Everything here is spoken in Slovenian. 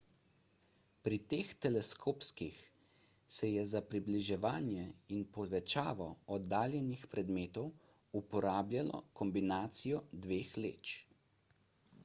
pri teh teleskopih se je za približevanje in povečavo oddaljenih predmetov uporabljalo kombinacijo dveh leč